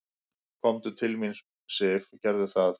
"""Komdu til mín, Sif, gerðu það."""